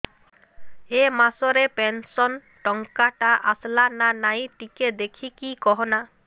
ଏ ମାସ ରେ ପେନସନ ଟଙ୍କା ଟା ଆସଲା ନା ନାଇଁ ଟିକେ ଦେଖିକି କହନା